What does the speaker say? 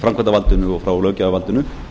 framkvæmdarvaldinu og frá löggjafarvaldinu